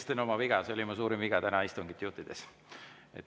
Tunnistan oma viga, see oli mu suurim viga täna istungit juhtides.